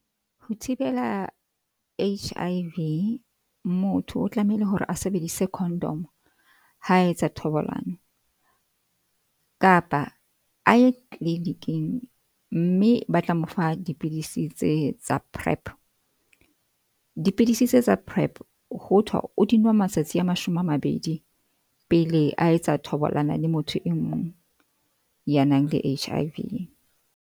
Ho thibela H_I_V, motho o tlamehile hore a sebedise condom ha etsa thobalano kapa a ye clinic-ing mme ba tla mo fa dipidisi tse tsa PrEP. Dipidisi tse tsa PrEP ho thwa o di nwe matsatsi a mashome a mabedi pele a etsa thobalano le motho e mong ya nang le H_I _V.